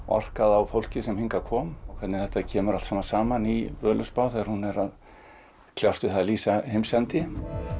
orkað á fólk sem hingað kom hvernig þetta kemur allt saman í Völuspá þegar hún er að kljást við að lýsa heimsendi